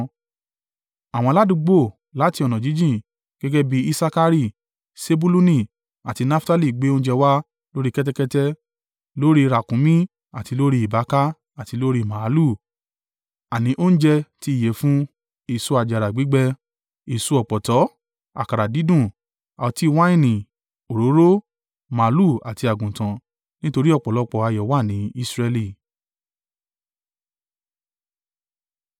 Àwọn aládùúgbò láti ọ̀nà jíjìn gẹ́gẹ́ bí Isakari, Sebuluni àti Naftali gbé oúnjẹ wá lórí kẹ́tẹ́kẹ́tẹ́, lórí ràkunmí, àti lórí ìbáaka àti lórí màlúù, àní oúnjẹ ti ìyẹ̀fun, èso àjàrà gbígbẹ, èso ọ̀pọ̀tọ́, àkàrà dídùn, ọtí wáìnì, òróró, màlúù àti àgùntàn, nítorí ọ̀pọ̀lọpọ̀ ayọ̀ wà ní Israẹli.